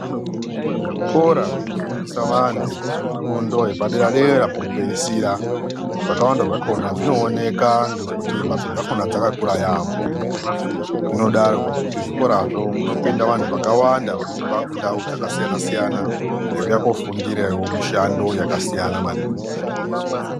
Zvikora zvino fundisa vantu fundo yepa dera dera peku pedzisira zvakawanda zvakona zvinooneka ngekuti mbatso dzakona dzaka kura yambo inodaro ngekuti mu zvikora zvo munopinda vantu vakawanda kubva kundau dzaka siyana siyana veiuya kufundirawo mishando yaka siyana maningi.